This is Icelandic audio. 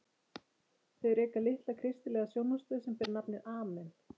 Þau reka litla kristilega sjónvarpsstöð sem ber nafnið Amen.